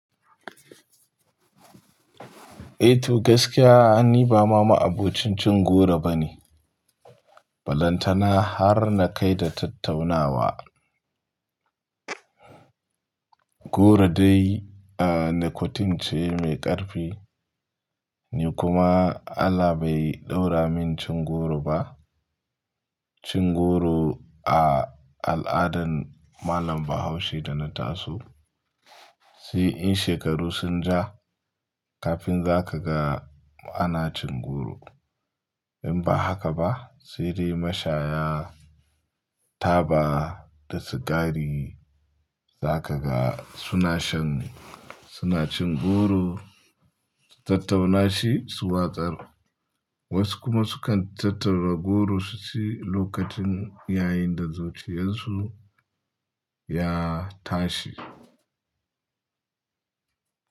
Eh to gaskiya, ni ba ma ma'abocin cin goro bane. Balantana har na kai da tattaunawa. Goro dai nicotine ce mai ƙarfi, ni kuma Allah bai ɗaura min cin goro ba. Cin goro a al'adan malam Bahaushe da na taso, sai in shekaru sun ja kafin za ka ga ana cin goro. In ba haka ba sai dai mashaya, taba da sigari za ka ga suna shan, suna cin goro su tattauna shi su watsar. Wasu kuma sukan tattara goro su ci lokacin yayin da zuciyarsu ya tashi.